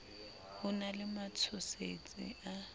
ho na le matshosetsi a